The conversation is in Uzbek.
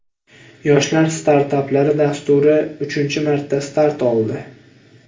Yoshlar startaplari dasturi uchinchi marta start oldi.